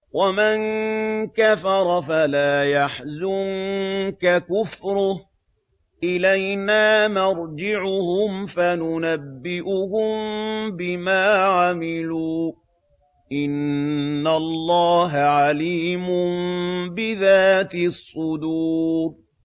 وَمَن كَفَرَ فَلَا يَحْزُنكَ كُفْرُهُ ۚ إِلَيْنَا مَرْجِعُهُمْ فَنُنَبِّئُهُم بِمَا عَمِلُوا ۚ إِنَّ اللَّهَ عَلِيمٌ بِذَاتِ الصُّدُورِ